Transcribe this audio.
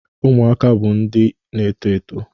Ụmụaka bụ ndị na-eto eto